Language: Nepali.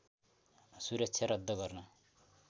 सुरक्षा रद्द गर्न